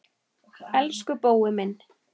Elsku Bói minn.